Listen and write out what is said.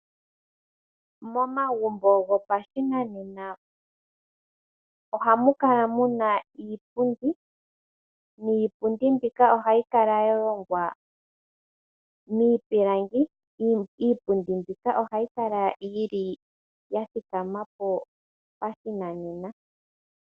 Momagumbo gopashinanena ohamu kala muna iipundi niipundi mbika ohayi kala yohongwa miipilangi. Iipundi mbika ohayi kala yi li ya thikama po pashinanena.